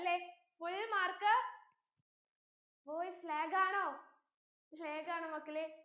എല്ലേ full mark voice lag ആണോ lag ആണോ മക്കളെ